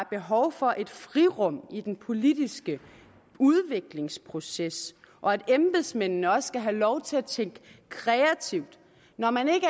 behov for et frirum i den politiske udviklingsproces og at embedsmændene også skal have lov til at tænke kreativt når man ikke